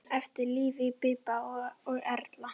Eftir lifa Bíbí og Erla.